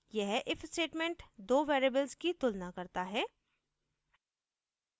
यह if statement दो variables की तुलना करता है